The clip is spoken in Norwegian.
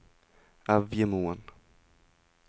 Evjemoen